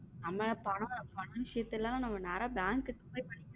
அண்ணா பணம் பணம் விஷயத்துல நேரா bank போய் பண்ணிட்டு.